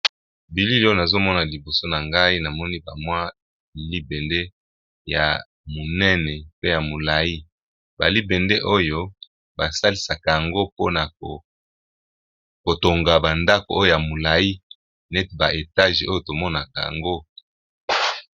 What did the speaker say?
Bilili oyo nazomona liboso na ngai namoni bamwa libende ya monene pe ya molai balibende oyo basalisaka yango mpona kotonga bandako oyo ya molai nete ba etage oyo tomonaka yango.